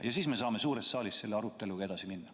Ja siis me saame suures saalis selle aruteluga edasi minna.